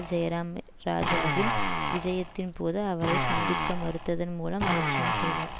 ஜெயராம் இராஜாவின் விஜயத்தின் போது அவரை சந்திக்க மறுத்ததன் மூலம் அலட்சியம் செய்தார்